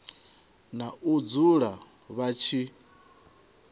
na u dzula vha tshi